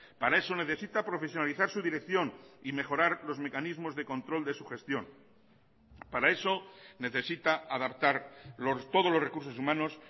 para eso necesita profesionalizar su dirección y mejorar los mecanismos de control de su gestión para eso necesita adaptar todos los recursos humanos